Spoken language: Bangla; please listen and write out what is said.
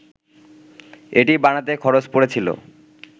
এটি বানাতে খরচ পড়েছিল